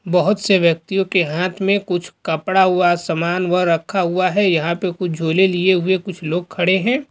बहुत से व्यक्तियों के हाथ में कुछ कपड़ा हुआ समान हुआ रखा हुआ है यहां पे कुछ झोले लिए हुए कुछ लोग खड़े हुए हैं।